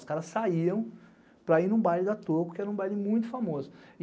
Os caras saíam para ir num baile da Toco, que era um baile muito famoso.